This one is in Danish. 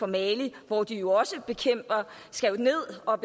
mali hvor de jo skal ned og